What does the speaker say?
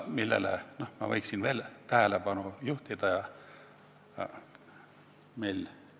Millele ma võin veel tähelepanu juhtida?